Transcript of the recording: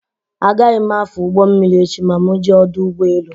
Agaghị m afụ ụgbọ mmiri echi ma mụ jee ọdọ ụgbọelu